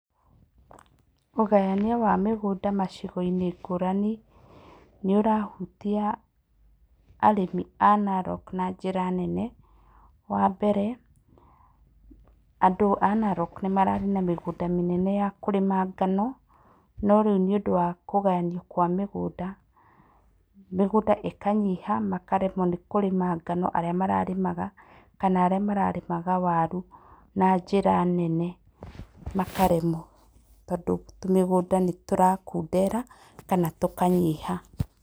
Ũgayania wa mĩgũnda macigo-inĩ ngũrani nĩ ũrahutia arĩmi a Narok na njĩra nene. Wa mbere, andũ a Narok nĩ mararĩ na mĩgũnda mĩnene ya kũrĩma ngano, no rĩu nĩũndũ wa kũgayanio kwa mĩgũnda, mĩgũnda ĩkanyiha makaremwo nĩ kũrĩma ngano arĩa mararĩmaga, kana arĩa mararĩmaga waru na njĩra nene makaremwo tondũ tũmĩgũnda nĩ tũrakundera kana tũkanyiha.